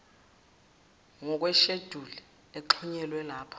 ngokwesheduli exhunyelwe lapha